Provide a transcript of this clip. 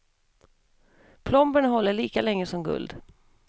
Plomberna håller lika länge som guld.